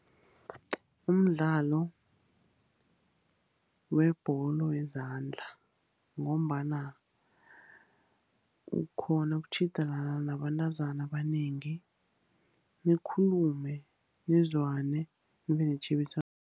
Umdlalo webholo yezandla, ngombana ukghona ukutjhidelana nabentazana abanengi, nikhulume nizwane, nibe netjhebiswano.